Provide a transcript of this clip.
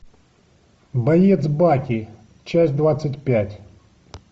боец баки часть двадцать пять